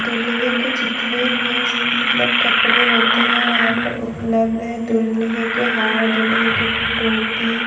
दूल्हे के जितने भी मतलब कपड़े होते हैं यहां पर उपलब्ध है दुलहे के हार दुलहे के टोपी।